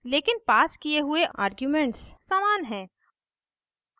लेकिन passed किये हुए आर्ग्यूमेंट्स समान हैं